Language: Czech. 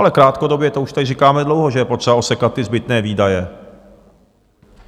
Ale krátkodobě, to už tady říkáme dlouho, že je potřeba osekat ty zbytné výdaje.